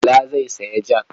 Bala zai sayo jak.